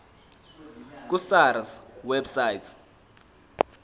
ku sars website